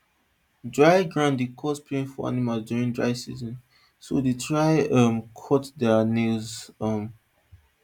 dry ground dey cause pain for animals during dry season so dey try um cut thier nails um